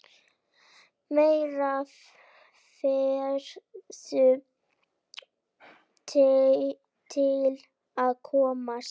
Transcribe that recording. Meira verður til að koma.